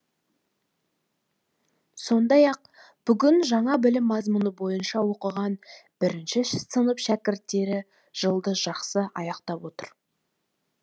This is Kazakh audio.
сондай ақ бүгін жаңа білім мазмұны бойынша оқыған бірінші сынып шәкірттері жылды жақсы аяқтап отыр